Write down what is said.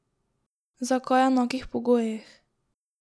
Zakaj enakih pogojih?